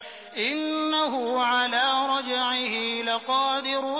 إِنَّهُ عَلَىٰ رَجْعِهِ لَقَادِرٌ